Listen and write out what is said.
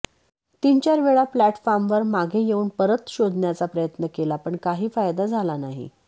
तीन चार वेळा प्लॅटफॉर्मवर मागे येऊन परत शोधण्याचा प्रयत्न केला पण काही फायदा झाला नाही